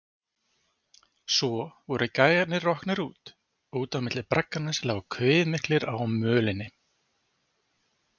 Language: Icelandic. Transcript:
Svo voru gæjarnir roknir, út á milli bragganna sem lágu kviðmiklir á mölinni.